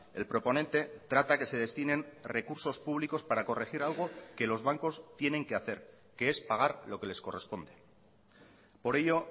el proponente trata que se destinen recursos públicos para corregir algo que los bancos tienen que hacer que es pagar lo que les corresponde por ello